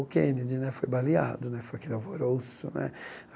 O Kennedy né, foi baleado né, foi aquele alvoroço né.